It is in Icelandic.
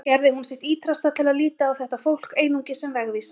Annars gerði hún sitt ýtrasta til að líta á þetta fólk einungis sem vegvísa.